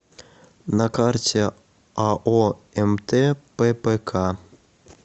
на карте ао мт ппк